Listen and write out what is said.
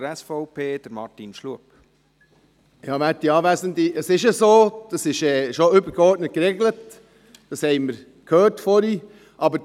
Das ist bereits übergeordnet geregelt, das haben wir vorhin gehört.